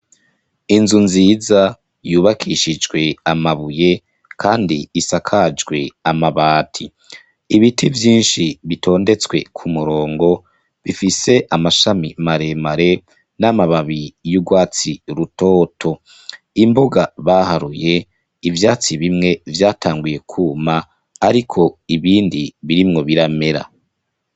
Inzu nziza yubakishijwe amabuye kandi isakajwe amabati. Ibiti vyinshi bitondetswe k'umurongo bifise amashami maremare, n'amababi y'urwatsi rutoto. Imbuga baharuye, ivyatsi bimwe vyatanguye kwuma, ariko ibindi birimwo biramera.